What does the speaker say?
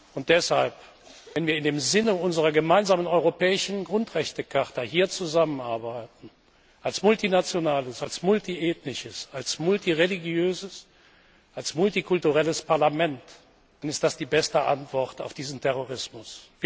Und deshalb, wenn wir im Sinne unserer gemeinsamen Europäischen Grundrechtecharta hier zusammenarbeiten, als multinationales, als multiethnisches, als multireligiöses, als multikulturelles Parlament, dann ist das die beste Antwort auf diesen Terrorismus!